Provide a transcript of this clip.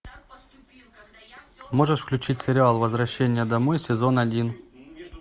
можешь включить сериал возвращение домой сезон один